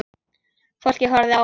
Fólkið horfði á hann.